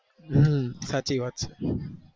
હમ સાચી વાત